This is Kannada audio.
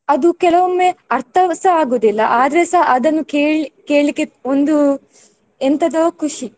ಅದು ಕೆಲವೊಮ್ಮೆ ಅರ್ಥವುಸ ಆಗುದಿಲ್ಲ ಆದ್ರೆಸ ಅದನ್ನು ಕೇಳಿ ಕೇಳ್ಲಿಕ್ಕೆ ಒಂದು ಎಂಥದೋ ಖುಷಿ.